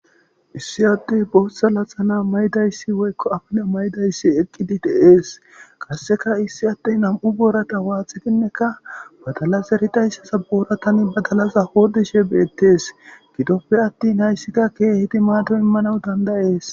Issi addey laxxana maydayssi woykko botha affilla maydayssi eqqidi de's qasikka issi addey nam'u borrata waxxidinekka badalla zeridayssan borrata hodhishe bettes.